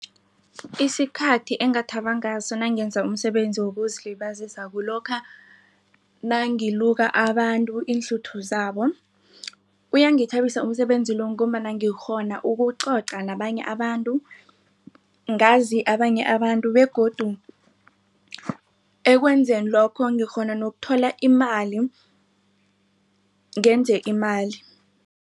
Isikhathi engathaba ngaso nangenza umsebenzi wokuzilibazisa kulokha nangiluka abantu iinhluthu zabo. Uyangithabisa umsebenzi lo ngombana ngikghona ukucoca nabanye abantu ngazi abanye abantu begodu ekwenzeni lokho ngikghona nokuthola imali ngenze imali.